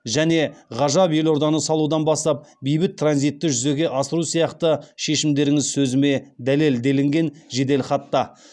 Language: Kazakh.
және ғажап елорданы салудан бастап бейбіт транзитті жүзеге асыру сияқты шешімдеріңіз сөзіме дәлел делінген жеделхатта